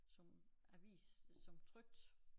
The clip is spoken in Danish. Som avis som trykt